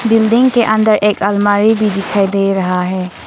Building के अंदर एक अलमारी भी दिखाई दे रहा है।